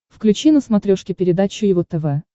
включи на смотрешке передачу его тв